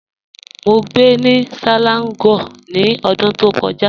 Mọ́ gbẹ́ ni Selangor ni ọ̀dún tó kọja.